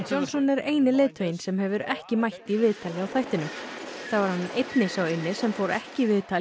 Johnson er eini leiðtoginn sem hefur ekki mætt í viðtal hjá þættinum þá er hann einnig sá eini sem fór ekki í viðtal